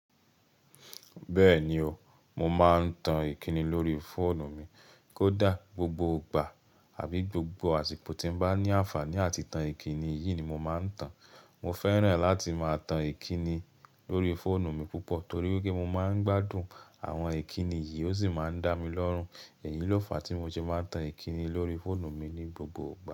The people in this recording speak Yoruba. Bẹ́ẹ̀ni o, mo máa ń tan Ìkíni lórí fóònù mi kódà gbogbo ìgbà àbí gbogbo àsìkò tí mo bá ní àǹfàní àti tan Ìkíni, èyí ni mo máa ń tan. Mo fẹ́ràn láti máa tan Ìkíni lórí fóònù mi púpọ̀ torí pé mo máa ń gbádùn àwọn Ìkíni yìí ó sì máa ń dá mi lọ́rùn. Èyí ló fàá tí mo ti máa ń tan Ìkíni lórí fóònù mi ní gbogbo ìgbà.